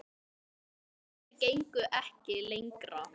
En sagnir gengu ekki lengra.